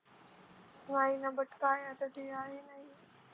why but काय आता ते आहे ना